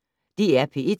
DR P1